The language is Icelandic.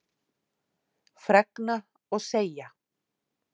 Fregna og segja